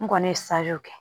N kɔni ye kɛ